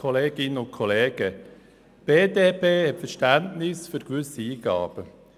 Die BDP hat Verständnis für gewisse Eingaben.